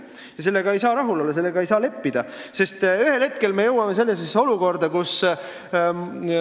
Ja sellega ei saa rahul olla, sellega ei saa leppida, sest ühel hetkel me jõuame sellisesse olukorda, kus ...